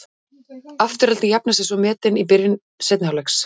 Afturelding jafnar svo metin í byrjun seinni hálfleiks.